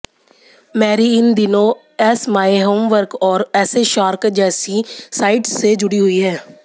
Mary इन दिनों ace my homework और ऐसेशार्क जैसी साइट्स से जुड़ी हुई हैं